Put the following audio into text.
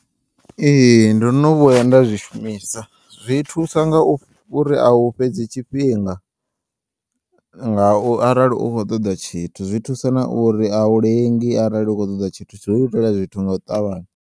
Ee, ndo no vhuya nda zwi shumisa, zwi thusa ngauri au fhedzi tshifhinga nga u arali u kho ṱoḓa tshithu zwi thusa na uri a u lengi arali u kho ṱoḓa tshithu zwi u itela zwithu nga u ṱavhanya.